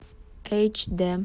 эйч дэ